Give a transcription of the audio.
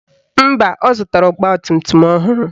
Mba, ọ zụtara ọgbatumtum ọhụrụ